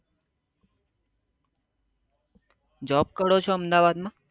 job કરો છો અમદાવાદ માં